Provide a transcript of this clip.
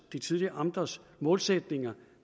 de tidligere amters målsætninger